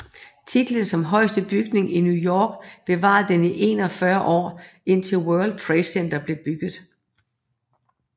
Titlen som højeste bygning i New York bevarede den i 41 år indtil World Trade Center blev bygget